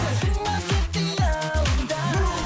қалдың ба тек қиялымда